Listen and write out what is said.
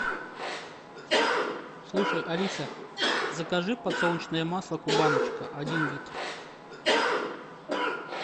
слушай алиса закажи подсолнечное масло кубаночка один литр